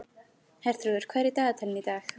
Herþrúður, hvað er í dagatalinu í dag?